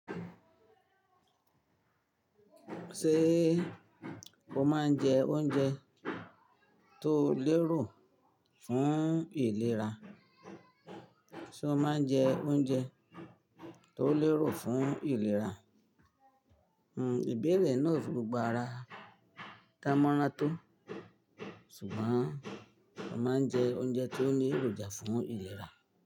Ṣé o máa ń jẹ oúnjẹ tó lérò fún ìlera? Ṣé o máa ń jẹ oúnjẹ tó lérò fún ìlera? Hmm ìbéèrè náà o fi gbogbo ara dánmọ́rán tó, ṣùgbọ́n mo máa ń jẹ oúnjẹ tó ní èròjà fún ìlera.